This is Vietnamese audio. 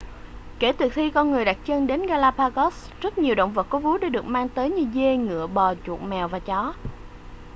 kể từ khi con người đặt chân đến galapagos rất nhiều động vật có vú đã được mang tới như dê ngựa bò chuột mèo và chó